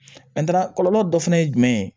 kɔlɔlɔ dɔ fɛnɛ ye jumɛn ye